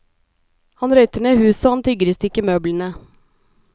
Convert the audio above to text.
Han røyter ned huset og han tygger i stykker møblene.